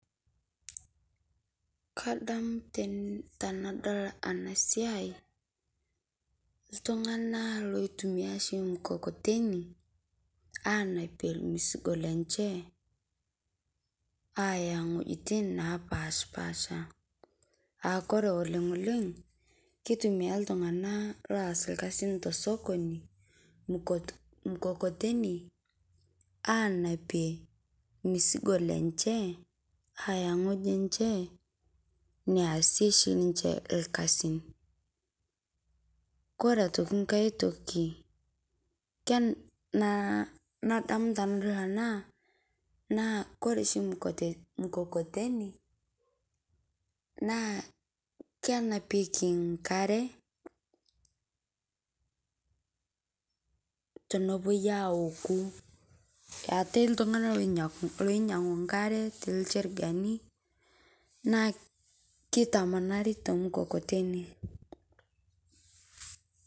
Kadamu tanadol ena siai ltung'ana loitumia shii mkokoteni anaapie mzigo lenchee anyaa ng'ojitin naapashpasha, aa kore oleng' oleng' keitumia ltung'ana loes lkasin to sokoni mkokoteni aanapie mzigo lenchee ayaa ng'ojii enchee neashie shii lenchee lkasin. Kore aitokii nkaai tokii nadamu tanadol ana naa kore shii mkokoteni naa kenapeeki nkaare tonopoi aaoku. Eetai ltung'ana loinyang'u nkaare te ilcherigani naa keitamanari to mkokoteni.